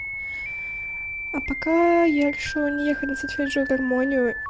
а пока я решила не ехать на сольфеджио гармонию